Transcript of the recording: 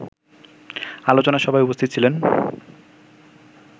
আলোচনা সভায় উপস্থিত ছিলেন